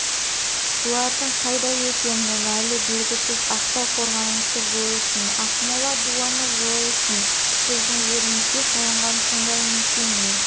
бұлардың қайда екені әлі белгісіз ақтау қорғанысы жойылсын ақмола дуаны жойылсын біздің жерімізге салынған сондай мекеме